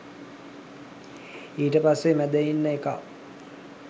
ඊට පස්සෙ මැද ඉන්න එකා